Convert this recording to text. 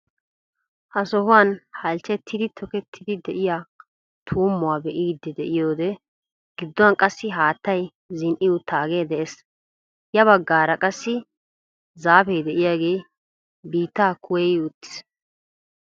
Ha sohuwaan halchchettidi tokettidi de'iyaa tummuwaa be'idi de'iyoode gidduwaan qassi haattay zini"i uttaagee de'ees. ya baggaara qassi zaapee diyaagee biittaa kuwayi wottiis.